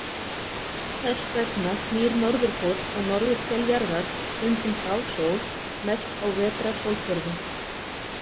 Þess vegna snýr norðurpóll og norðurhvel jarðar stundum frá sól, mest á vetrarsólhvörfum.